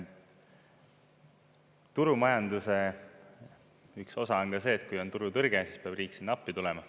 Turumajanduse üks osa on ka see, et kui on turutõrge, siis peab riik sinna appi tulema.